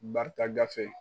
Barika gafe